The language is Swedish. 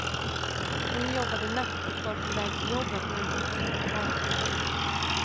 Hon jobbade natt och var på väg till jobbet när hon upptäckte paret vid entrén.